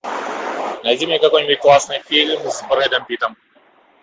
найди мне какой нибудь классный фильм с брэдом питтом